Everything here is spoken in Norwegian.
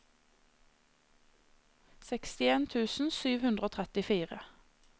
sekstien tusen sju hundre og trettifire